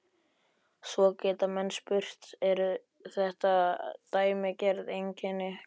Svo geta menn spurt, eru þetta dæmigerð einkenni kreppu?